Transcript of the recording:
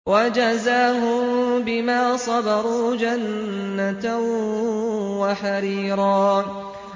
وَجَزَاهُم بِمَا صَبَرُوا جَنَّةً وَحَرِيرًا